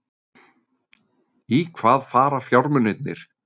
Í hvaða fara fjármunirnir?